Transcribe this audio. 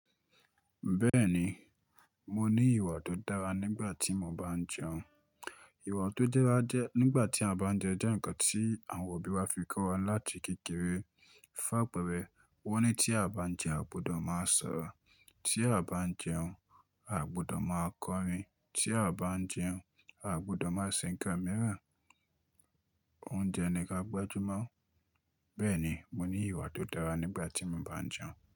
Bẹ́ẹ̀ni, mo ní ìwà tó dára nígbà tí mo bá ń jẹun. Ìwà tó dará jẹ nígbà tí a bá ń jẹun jẹ́ ǹkan tí àwọn òbí wa fi kọ́ wa láti kékeré. Fun apẹ̀rẹ̀, wọ́n ní tí a bá ń jẹun, à gbùdọ̀ máa sọ̀ ọ́. Tí a bá ń jẹun, àgbùdọ̀ máa kọrin. Tí a bá ń jẹun, àgbùdọ̀ máa se nkán míràn. Oúnjẹ ni ka gbájúmọ́. Bẹ́ẹ̀ni, mo ní ìwà tó dára nígbà tí mo bá ń jẹun.